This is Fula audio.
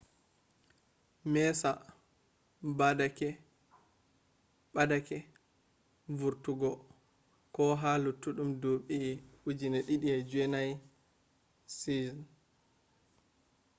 messa ɓa’deke vortugo ko ha luttudun dubi 2009 seasion